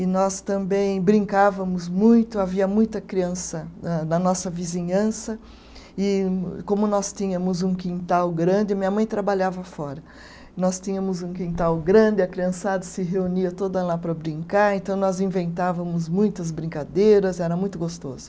E nós também brincávamos muito, havia muita criança da na nossa vizinhança, e como nós tínhamos um quintal grande, minha mãe trabalhava fora, nós tínhamos um quintal grande, a criançada se reunia toda lá para brincar, então nós inventávamos muitas brincadeiras, era muito gostoso.